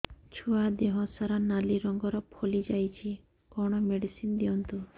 ଛୁଆ ଦେହ ସାରା ନାଲି ରଙ୍ଗର ଫଳି ଯାଇଛି କଣ ମେଡିସିନ ଦିଅନ୍ତୁ